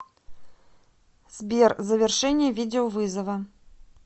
сбер завершение видеовызова